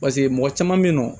paseke mɔgɔ caman be yen nɔ